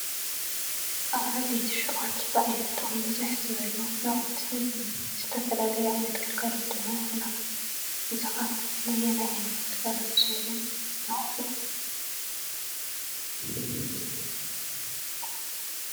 ኣብ ዓበይቲ ሹቋት ብዓይነቶም ብዝሕ ዝበሉ ናውቲ ዝተፈላለዩ ዓይነት ግልጋሎት ድማ ይህቡና፡፡ እዚ ኸ ነየናይ ዓይነት ግልጋሎት ዝውዕሉ ኣቑሑ እዩ?